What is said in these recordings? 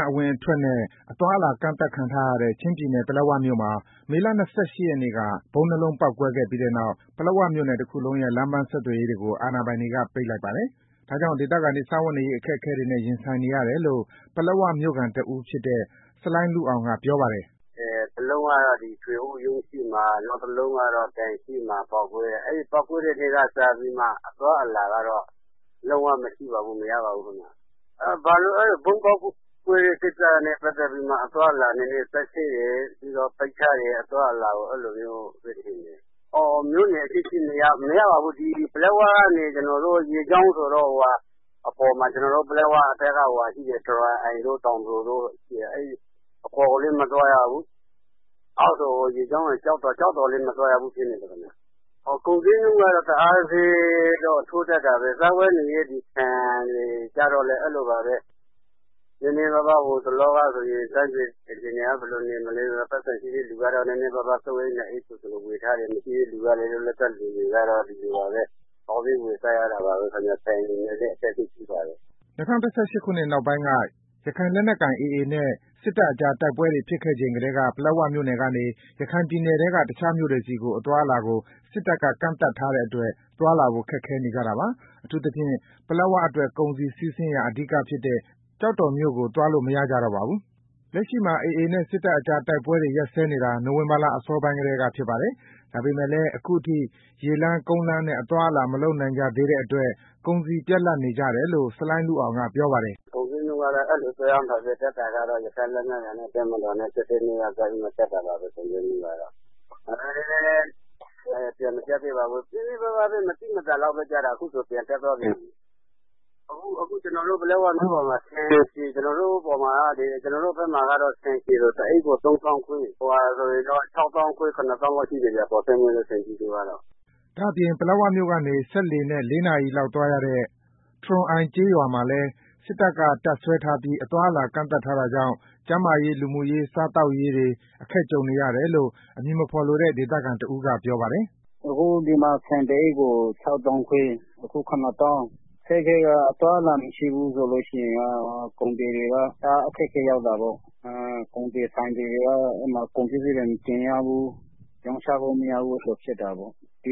မ်း အဝင်အထွက်နဲ့ အသွားအလာ ကန့်သတ်ခံထားရတဲ့ ချင်းပြည်နယ် ပလက်ဝမြို့မှာ မေလ ၂၈ ရက်နေ့က ဗုံးနှစ်လုံးပေါက်ကွဲခဲ့ပြီးနောက် ပလက်ဝမြို့နယ်တခုလုံးရဲ့ လမ်းပန်းဆက်သွယ်ရေးတွေကို အာဏာပိုင်တွေက ပိတ်လိုက်ပါတယ်။ ဒါကြောင့် ဒေသခံတွေ စားဝတ်နေရေး အခက်အခဲတွေနဲ့ ရင်ဆိုင်နေရတယ်လို့ ပလက်ဝမြို့ခံတစ်ဦးဖြစ်တဲ့ ဆလိုင်းလုအောင်က ပြောပါတယ်။ “ပလက်ဝမြို့က ထွေအုပ်ရုံးရှေ့မှာ နောက်တလုံးကတော့ ဘဏ်ရှေ့မှာ ပေါက်ကွဲတယ်။ အဲဒီပေါက်ကွဲတဲ့ နေ့ကစပြီးတော့ လုံးဝမရှိပါဘူး။ မရပါဘူးခင်ဗျာ။ ဗုံးပေါက်ကွဲတဲ့ ကိစ္စနဲ့ ပတ်သတ်ပြီးတော့ အသွားအလာနည်းနည်း စစ်ဆေးတယ်။ ပြီးတော့ ပိတ်ထားတယ် အသွားအလာကို အဲဒီလိုမျိုး မြို့နယ်အချင်းချင်းလည်း သွားလို့မရပါဘူး။ ပလက်ဝကနေ ရေကြောင်းဆိုတော့ အပေါ်ကိုလည်း တက်လို့မရဘူး။ အောက်ဘက်မှာရှိတဲ့ ကျောက်တော် ကိုလည်း ဆင်းလို့မရဘူးခင်ဗျာ။ ကုန်ဈေးနှုန်းကတော့ တအားထိုးတက်တာပဲ။ စားဝတ်နေရေး ဒီဆန်တွေဆိုရင် ဟိုတလောက တိုင်းပြည်အခြေအနေကောင်းတော့ ရှိတဲ့ သူက ၃၊ ၄ အိတ် ဝယ်ထားတယ်။ မရှိတဲ့သူတွေလည်း ဒီလိုပဲ ရှာစားရတယ်။ စားဝတ်နေရေးကတော့ တော်တော်လေး အခက်အခဲရှိပါတယ်။” ၂၀၁၈ ခုနှစ်ကုန်ပိုင်းက ရခိုင်လက်နက်ကိုင် AA နဲ့ စစ်တပ်ကြား တိုက်ပွဲတွေ ဖြစ်ခဲ့ချိန်ကတည်းက ပလက်ဝမြို့နယ်ကနေ ရခိုင်ပြည်နယ်ထဲက တခြားမြို့နယ်တွေဆီ အသွားအလာကို စစ်တပ်က ကန့်သတ်ထားတဲ့အတွက် သွားလာဖို့ ခက်ခဲနေကြတာပါ။ အထူးသဖြင့် ပလက်ဝအတွက် ကုန်စည်စီးဆင်းရာ အဓိကဖြစ်တဲ့ ကျောက်တော်မြို့နယ်ကို သွားလို့ မရကြတော့ပါဘူး။ အခုလက်ရှိမှာ AA အဖွဲ့နဲ့ စစ်တပ်ကြား တိုက်ပွဲတွေ ရပ်စဲနေတာ နိုဝင်ဘာလ အစောပိုင်းထဲကဖြစ်ပါတယ်။ ဒါပေမဲ့လည်း အခုအထိ ရေလမ်း ကုန်းလမ်းနဲ့ အသွားအလာ မလုပ်နိုင်ကြသူတွေအတွက် ကုန်စည်ပြတ်လတ်နေကြတယ်လို့ ဆလိုင်းလုအောင်က ပြောပါတယ်။ “ကုန်ဈေးနှုန်းကတော့ ရခိုင်လက်နက်ကိုင် AA အဖွဲ့နဲ့ တပ်မတော်တို့ တိုက်ပွဲဖြစ်ကတည်းက တက်တာပါပဲ။ ကြားထဲမှာ နည်းနည်းလေးပဲ မသိမသာလေးကျသွားတာ။ အခုဆိုရင် ပြန်တက်သွားပြန်ပြီ။ ကျနော်တို့ ပလက်ဝမြို့ပေါ်မှာ ဆန်အညံ့စားဆိုရင် တအိတ်ကို ၃၅၀,၀၀၀ အကောင်းဆိုရင်တော့ ၆၅,၀၀၀၊ ၇၀,၀၀၀ လောက် ရှိတယ်ဗျာ။” ဒါအပြင့် ပလက်ဝမြို့နယ်ကနေ စက်လှေနဲ့ ၄ နာရီလောက် သွားရတဲ့ တရွန်အိုင်ကျေးရွာမှာလည်း စစ်တပ်က တပ်စွဲထားပြီး အသွားအလာ ကန့်သတ်ထားတာကြောင့် ကျန်းမာရေး လူမှုရေး စားသောက်ရေးတွေ အခက်ကြုံနေရတယ်လို့ အမည်မဖော်လိုတဲ့ ဒေသခံတဦးကပြောပါတယ်။ “ဒီမှာ အခု ဆန်တစ်အိတ်ကို ၆၅,၀၀၀၊ ၇၀,၀၀၀ ရှိတယ်။ အသွားအလာ မရှိဘူးဆိုလို့ရှိရင် ကုန်သည်တွေက ဆိုင်သည်တွေက ကုန်ပစ္စည်းတွေ မတင်ရဘူး။ ရောင်းချလို့ မရဘူး။ အဲဒီလိုဖြစ်တာပေါ့။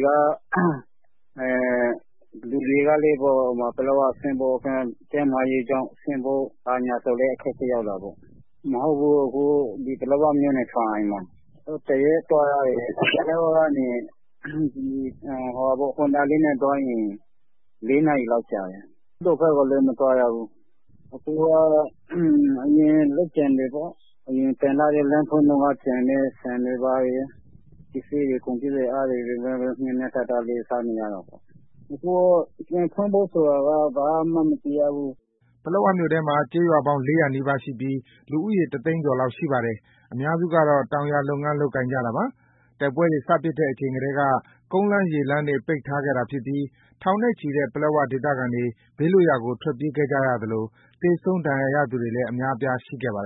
လူတွေကလည်း ပလက်ဝကို ကျန်းမာရေးကြောင့် ဆင်းမယ်ဆိုရင်လည်း အခက်အခဲရောက်တာပေါ့။ ကျနော်တို့နေတာက ပလက်ဝကနေ စက်လှေနဲ့သွားရင် ၄ နာ ရီလောက်ကြာတယ်။ အခုကတော့ အရင် လမ်းဖွင့်တုန်းက ကျန်တဲ့ ဆန်တွေ ဘာတွေ ကုန်ပစ္စည်းတွေ အဲဒါနဲ့ပဲ မျှမျှတတစားနေရတာပေါ့။ ပြန်ဖို့ဆိုတာလားလည်း ဘာမှမသိရဘူး။” ပလက်ဝမြို့နယ်ထဲမှာ ကျေးရွာပေါင်း ၄၀၀ နီးပါးရှိပြီး လူဦးရေ ၁၀၀,၀၀၀ ကျော်လောက်ရှိပါတယ်။ အများစုကတော့ တောင်ယာလုပ်ငန်း လုပ်ကိုင်ကြတာပါ။ တိုက်ပွဲတွေ စဖြစ်ခဲ့ချိန်ကတည်းက ကုန်းလမ်း၊ ရေလမ်းတွေ ပိတ်ထားခဲ့တာ ဖြစ်ပြီး ထောင်နဲ့ချီတဲ့ ပလက်ဝ ဒေသခံတွေ ဘေးလွတ်ရာကို ထွက်ပြေးခဲ့ကြရသလို သေဆုံး ဒဏ်ရာရသူတွေလည်း အများအပြားရှိခဲ့ပါတယ်